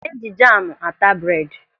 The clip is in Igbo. Eji jamu ata bred.